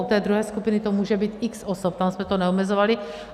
U té druhé skupiny to může být x osob, tam jsme to neomezovali.